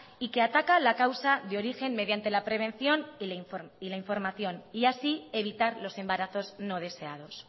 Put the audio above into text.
y que ataca la causa de origen mediante la prevención y la información y así evitar los embarazos no deseados